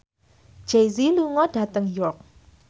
Jay Z lunga dhateng York